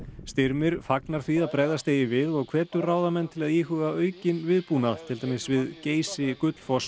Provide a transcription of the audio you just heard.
Styrmir fagnar því að bregðast eigi við og hvetur ráðamenn til að íhuga aukinn viðbúnað til dæmis við Geysi Gullfoss